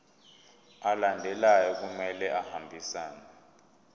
alandelayo kumele ahambisane